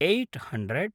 eight hundred